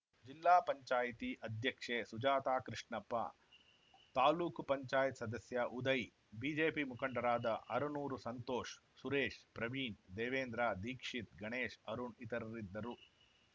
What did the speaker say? ಜಿಲ್ಲಾ ಪಂಚಾಯತಿ ಅಧ್ಯಕ್ಷೆ ಸುಜಾತಾ ಕೃಷ್ಣಪ್ಪ ತಾಲೂಕ್ ಪಂಚಾಯತ್ ಸದಸ್ಯ ಉದಯ್‌ ಬಿಜೆಪಿ ಮುಖಂಡರಾದ ಅರನೂರು ಸಂತೋಷ್‌ ಸುರೇಶ್‌ ಪ್ರವೀಣ್‌ ದೇವೇಂದ್ರ ದೀಕ್ಷಿತ್‌ ಗಣೇಶ್‌ ಅರುಣ್‌ ಇತರರಿದ್ದರು